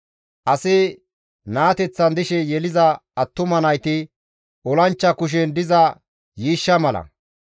Asi naateththan dishe yeliza attuma nayti olanchcha kushen diza yiishsha mala.